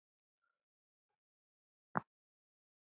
Finnst þér fiskur góður?